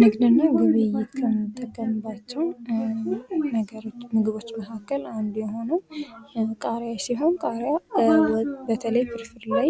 ንግድና ግብይት ከምንጠቀምባቸው ምግቦች መካከል አንዱ የሆነው ቃርያ ሲሆን በተለይ ፍርፍር ላይ